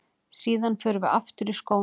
Síðan förum við aftur í skóna.